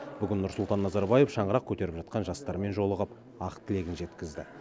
бүгін нұрсұлтан назарбаев шаңырақ көтеріп жатқан жастармен жолығып ақ тілегін жеткізді